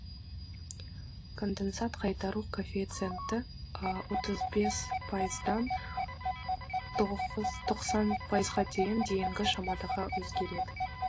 конденсат қайтару коэффициенті отыз бес пайыздан тоқсан пайызға дейінгі шамада өзгереді